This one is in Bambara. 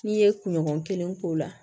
N'i ye kunɲɔgɔn kelen k'o la